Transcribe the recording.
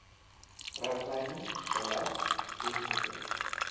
riglyne beleid ens